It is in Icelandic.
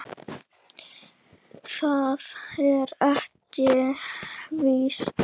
Það er ekki víst.